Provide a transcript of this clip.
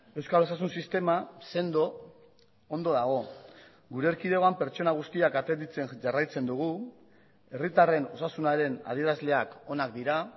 euskal osasun sistema sendo ondo dago gure erkidegoan pertsona guztiak atenditzen jarraitzen dugu herritarren osasunaren adierazleak onak dira